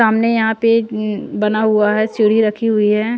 सामने यहाँ पे बना हुआ है चिड़ी रखी हुई है।